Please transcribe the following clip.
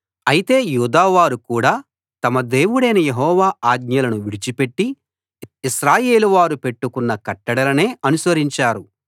అయితే యూదా వారు కూడా తమ దేవుడైన యెహోవా ఆజ్ఞలను విడిచిపెట్టి ఇశ్రాయేలు వారు పెట్టుకొన్న కట్టడలనే అనుసరించారు